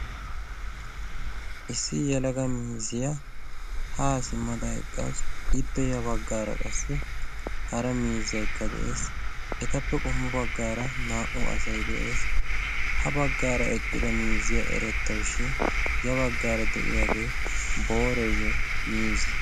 issi yalaga mizziyaa haa simmada eqqassu ippe ya baggaara qassi hara miizzaykka de'ees etappe qommu baggaara naa77u asai de7ees ha baggaara eqqida mizziyaa erettawushin ya baggaara de'iyaagee booreeyye miize